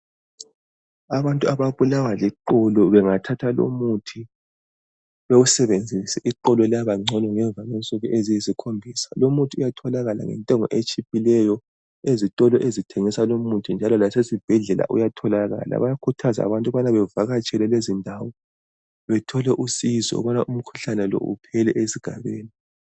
Abantu ababulawa liqolo bengathatha lomuthi bewusebenzise iqolo liyabangcono ngemva kwe nsuku eziyisi khombisa lumuthi uyatholakala ngentengo etshiphileyo, ezitolo ezithengisa lomuthi njalo lasezibhedlela uyatholakala, bayakhuthazwa abantu ukubana bevakatshele lezindawo bethole usizo ukubana umkhuhlane lo uphele esigabeni.